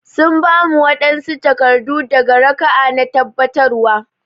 Sun ba mu wanɓsu takardu daga raka'a na tabbatarwa